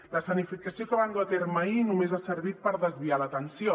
l’escenificació que van dur a terme ahir només ha servit per desviar l’atenció